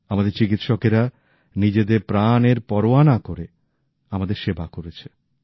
আমাদের চিকিৎসকেরা নিজেদের প্রাণ এর পরোয়া না করে আমাদের সেবা করেছে